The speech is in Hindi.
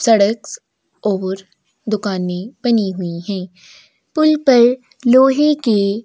सड़क और दुकाने बनी हुई है पुल पर लोहे के--